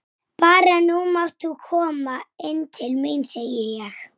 Þetta er Dundi!